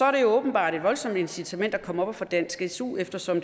er det åbenbart et voldsomt incitament at komme op og få dansk su eftersom